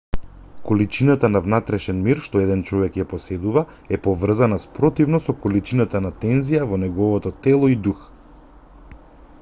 количината на внатрешен мир што еден човек ја поседува е поврзана спротивно со количината на тензија во неговото тело и дух